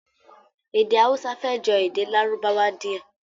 Èdè Hausa fẹ́ jọ èdè Lárúbáwá díẹ̀